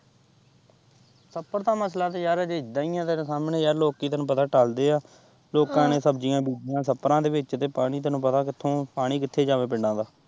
ਛੱਪੜ ਦਾ ਮਸਲਾ ਦਾ ਯਾਰ ਅਜੇ ਇੱਦੇ ਹੀ ਏ ਤੇਰੇ ਸਾਹਮਣੇ ਯਾਰ ਲੋਕੀਂ ਤੈਨੂੰ ਪਤਾ ਟੱਲਦੇ ਆ ਲੋਕਾਂ ਨੇ ਸ਼ਬਜੀਆਂ ਬੀਜੀਆਂ ਛੱਪੜਾਂ ਦੇ ਵਿੱਚ ਤੇ ਪਾਣੀ ਤੈਨੂੰ ਪਤਾ ਕਿੱਥੋਂ ਪਾਣੀ ਕਿੱਥੇ ਜਾਵੇ ਪਿੰਡਾਂ ਦਾ।